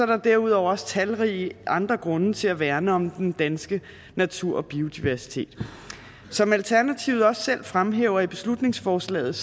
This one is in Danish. der derudover også talrige andre grunde til at værne om den danske natur og biodiversitet som alternativet også selv fremhæver i beslutningsforslaget